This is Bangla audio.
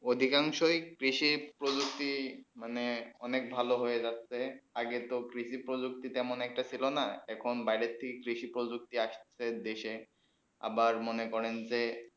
অধিকাংশ কৃষি প্রযুক্তি মানে অনেক ভালো হয়ে যাচ্ছেই আগে তো কৃষি প্রযুক্তি তেমন একটা ছিল না এখন বাইরে থেকে কৃষি প্রযুক্তি আসছে দেশে আবার মনে করেন যে